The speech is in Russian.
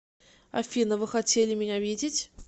афина вы хотели меня видеть